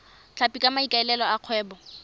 tlhapi ka maikaelelo a kgwebo